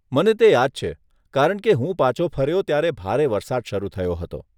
મને તે યાદ છે, કારણ કે હું પાછો ફર્યો ત્યારે ભારે વરસાદ શરૂ થયો હતો.